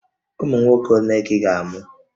Ụmụ nwoke ole ka ị ga-amụ?